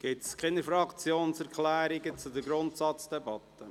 Gibt es Fraktionserklärungen zur Grundsatzdebatte?